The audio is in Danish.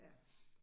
Ja